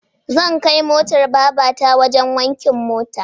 Zab kai motar babata wajen wankin mota